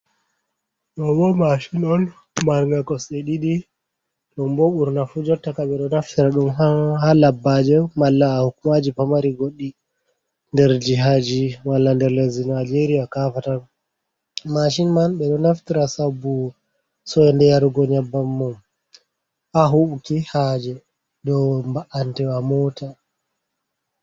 Ɗoo bo "maashin" on marnga kosɗe ɗiɗi, ɗum bo ɓurnaa fu jottaka ɓe ɗo naftira ɗum ha labbaaje, malla ha hukuumaaji pamari goɗɗi, nder jihaaji, malla nder lesdi Nijeeriya kaaffatan. "maashin" man ɓe ɗo naftira sabbu soynde yarugo nyabban mum, ha huubuki haaje dow mba'antewa moota.